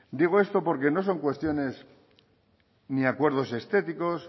digo esto porque no son cuestiones ni acuerdos estéticos